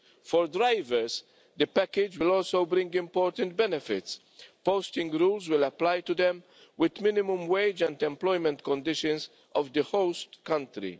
For drivers the package will also bring important benefits posting rules will apply to them with minimum wage and employment conditions of the host country